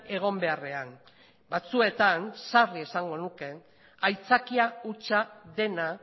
egon beharrean batzuetan sarri esango nuke aitzakia hutsa dena